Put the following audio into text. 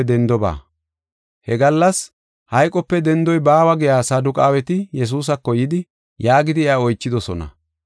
He gallas hayqope dendoy baawa giya Saduqaaweti Yesuusako yidi, yaagidi iya oychidosona.